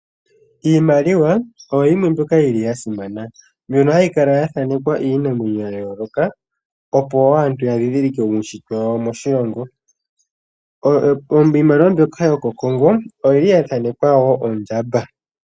Iimaliwa oyo yimwe mbyoka yili yasimana. Mbyono yili hayi kala yathanekwa iinamwenyo ya yooloka, opo wo aantu ya dhidhilike uushitwe wawo moshilongo. Iimaliwa mbyoka yokOkongo oyili ya thanekwa woo ondjamba.